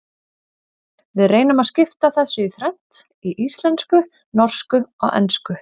Við reynum að skipta þessu í þrennt, í íslensku, norsku og ensku.